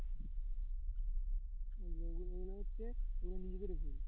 ওই যে ওগুলো ওগুলো হচ্ছে ওগুলো নিজেদের ভুল